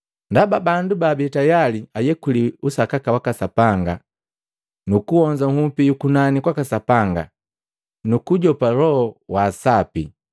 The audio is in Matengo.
Ndaba bandu baabii tayali ayekuliwi usakaka waka Sapanga, nuku honza nhupi yukunani kwaka Sapanga, nukujopa Loho wa Sapi,